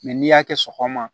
n'i y'a kɛ sɔgɔma